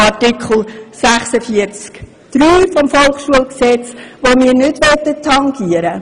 Artikel 46 Absatz 3 des Volkshochschulgesetzes möchten wir nicht tangieren.